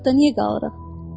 Barakda niyə qalırıq?